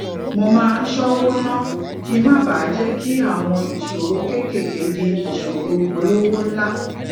mo máa ń ṣówó ná kí n má bàa jé kí àwọn ìṣòro kéékèèké di ìṣòro olowo nla